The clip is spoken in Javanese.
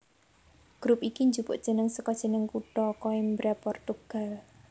Grup iki njupuk jeneng saka jeneng kutha Coimbra Portugal